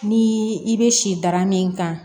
Ni i bɛ si dara min kan